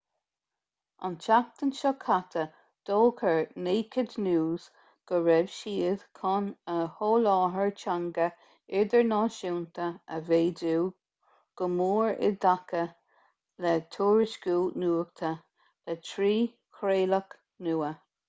an tseachtain seo caite d'fhógair naked news go raibh siad chun a sholáthar teanga idirnáisiúnta a mhéadú go mór i dtaca le tuairisciú nuachta le trí chraoladh nua